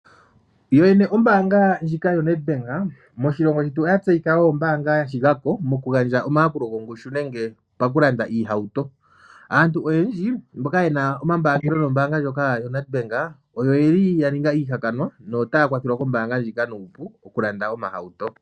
Yoyene ombaanga ndjika yoNedbank moshilongo shetu oya tseyika kutya ombaanga ya shigako mokugandja omayakulo gongushu nenge pakulanda iihauto. Aantu oyendji mboka haya mbaanga nombaanga ndjika oya ninga aanelago notaya kwathelwa kombaanga ndjika nuupu okulanda omahauto.